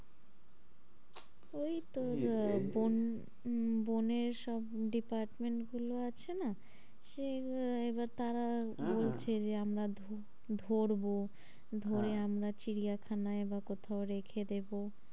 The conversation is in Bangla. ওই তো আহ বন বনের সব department গুলো আছে না সে এবার তারা বলছে হ্যাঁ হ্যাঁ যে তারা বলছে যে আমরা ধরবো ধরে আমরা চিড়িয়াখানায় বা কোথাও রেখে দেবো।